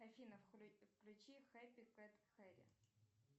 афина включи хэппи кэт хэри